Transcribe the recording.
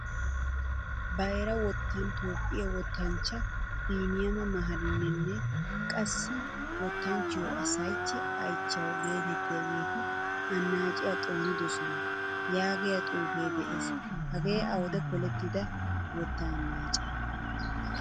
Bayra wottan toophphiyaa wottanchcha biniyama maharininne qassi wottanchchiyo asayechi ayichewu geetettiyagetti annacciyaa xoonidosona. yaagiyaa xuufe de'ees. Hage awude polettida wotta annace?